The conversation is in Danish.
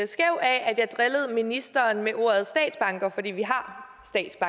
skæv af at jeg drillede ministeren med ordet statsbanker fordi vi her